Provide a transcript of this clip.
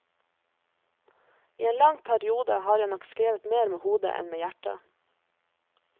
I en lang periode har jeg nok skrevet mer med hodet enn med hjertet.